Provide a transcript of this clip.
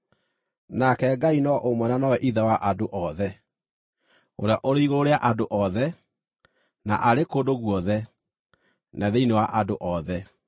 nake Ngai no ũmwe na nowe Ithe wa andũ othe, ũrĩa ũrĩ igũrũ rĩa andũ othe, na arĩ kũndũ guothe, na thĩinĩ wa andũ othe.